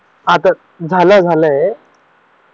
आत्ता झालं झालं ये